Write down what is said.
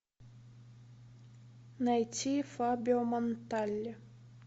найти фабио монтале